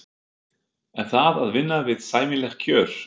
Er það að vinna við sæmileg kjör?